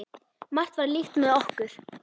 Margt var líkt með okkur.